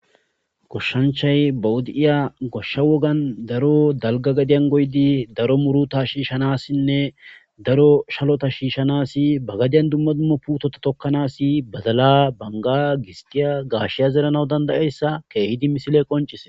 goshshanchay bawudi7iya goshsha wogan daro dalga gadiyan goydi daro muru ta shiishanassinne daro shalota shiishshanasi ba gadiyan dumma dummo putota tokkanasi badala banga gisgiya gaashiya zeranaw dandayeyssa keehidi misile qoncise